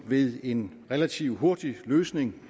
ved en relativt hurtig løsning